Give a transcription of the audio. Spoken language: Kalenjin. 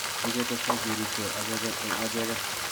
oongetestai keriipkee achegen eng' achegen.